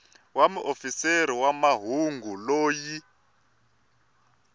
wa muofisiri wa mahungu loyi